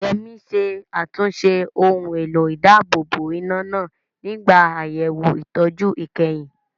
Yemi ṣe àtúnṣe ohun èlò ìdáàbòbò iná náà nígbà àyẹ̀wò ìtọ́jú ìkẹyìn.